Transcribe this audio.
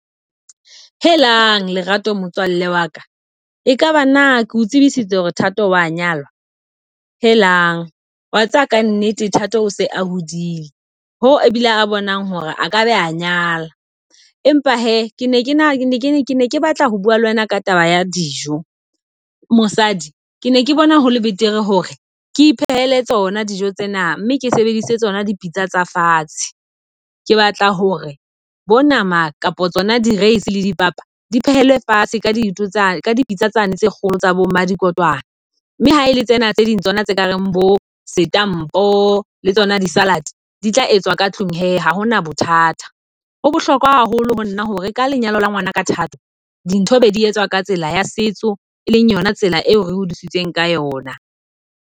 Helang Lerato motswalle waka e kaba nna keo tsebisitse hore Thato wa nyalwa? Helang, wa tseba ka nnete Thato o se a hodile. Ho e bile a bonang hore a ka be a nyala. Empa hee ke ne ke ke ne ke batla ho bua le wena ka taba ya dijo. Mosadi ke ne ke bona hole betere hore ke iphehele tsona dijo tsena mme ke sebedise tsona dipitsa tsa fatshe. Ke batla hore bo nama kapa tsona di-rice le dipapa di phehelwe fatshe ka dintho tsane ka dipitsa tsane tse kgolo tsa bo mmadikotwana. Mme ha ele tsena tse ding tsona tse kareng bo setampo le tsona di salad di tla etswa ka tlung he ha hona bothata. Ho bohlokwa haholo ho nna hore ka lenyalo la ngwana ka Thato dintho be di etswa ka tsela ya setso, e leng yona tsela eo re hodisitsweng ka yona.